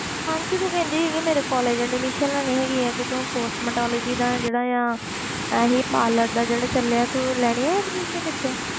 ਮਾਨਸੀ ਤੂੰ ਕਹਿੰਦੀ ਸੀਗੀ ਮੇਰੇ college admission ਲੈਣੀ ਹੈਗੀ ਤੂੰ cosmetology ਦਾ ਜਿਹੜਾ ਆ ਇਹੀ parlour ਦਾ ਜਿਹੜਾ ਚੱਲਿਆ ਤੂੰ ਲੈਣੀ ਹੈ admission ਇੱਥੇ